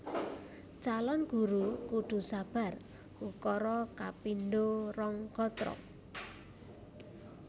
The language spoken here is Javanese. Calon Guru kudu sabar ukara kapindho rong gatra